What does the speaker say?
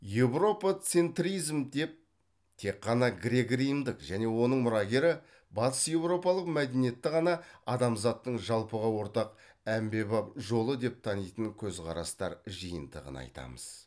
еуропоцентризм деп тек қана грек римдік және оның мұрагері батыс еуропалық мәдениетті ғана адамзаттың жалпыға ортақ әмбебап жолы деп танитын көзқарастар жиынтығын айтамыз